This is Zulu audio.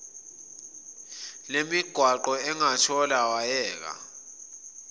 lemigwaqo engothela wayeka